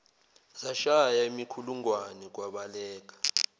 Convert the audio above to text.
zashaya imikhulungwane kwabaleka